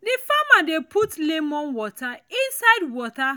the farmer dey put lemon water inside the water